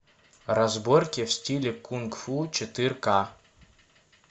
разборки в стиле кунг фу четыре ка